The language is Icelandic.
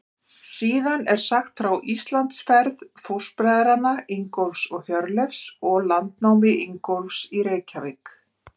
Síðan er sagt frá Íslandsferð fóstbræðranna Ingólfs og Hjörleifs og landnámi Ingólfs í Reykjavík.